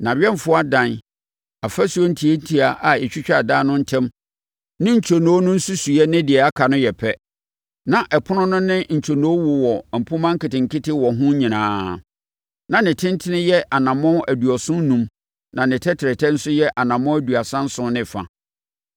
Nʼawɛmfoɔ adan, afasuo ntiatia a ɛtwitwa adan no ntam ne ntwonoo no nsusuiɛ ne deɛ aka no yɛ pɛ. Na ɛpono no ne ne ntwonoo wowɔ mpomma nketenkete wɔ ho nyinaa. Na ne tentene yɛ anammɔn aduɔson enum na ne tɛtrɛtɛ nso yɛ anammɔn aduasa nson ne fa.